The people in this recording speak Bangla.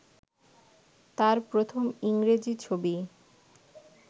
তাঁর প্রথম ইংরেজি ছবি